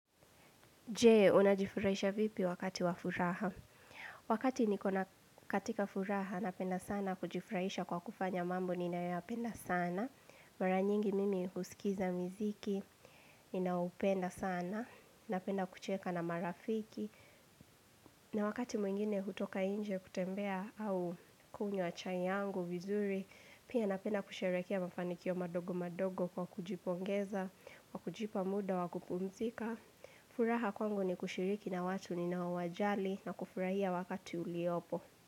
Je, unajifurahisha vipi wakati wafuraha? Wakati nikona katika furaha, napenda sana kujifurahisha kwa kufanya mambo, ninayoyapenda sana. Mara nyingi mimi kusikiza miziki, ninaoupenda sana, napenda kucheka na marafiki. Na wakati mwingine hutoka inje kutembea au kunywa chai yangu, vizuri, pia napenda kusherekea mafanikio madogo madogo kwa kujipongeza, kwa kujipa muda, wa kupumzika. Furaha kwangu ni kushiriki na watu ninaowajali na kufurahia wakati uliopo.